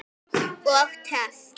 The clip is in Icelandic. Og töff!